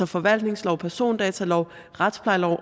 forvaltningslov persondatalov retsplejelov